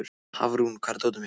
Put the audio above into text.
Hafrún, hvar er dótið mitt?